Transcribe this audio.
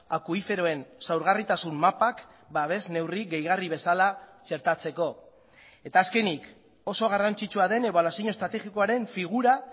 akuiferoen zaurgarritasun mapak babes neurri gehigarri bezala txertatzeko eta azkenik oso garrantzitsua den ebaluazio estrategikoaren figura